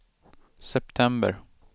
september